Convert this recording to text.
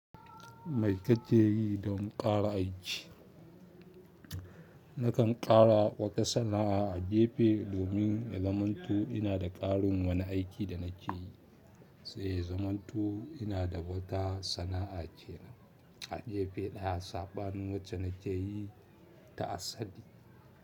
Mai kake yi don fara aiki. Nakan ƙara wata sana'a a gefe domin ya zamanto inada ƙarin wani aiki da nakeyi sai ya zamanto ina da wata sana'a kenan a jefa ɗaya saɓanin wacce na keyi ta asali.